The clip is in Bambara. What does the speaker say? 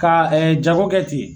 Ka jago kɛ ten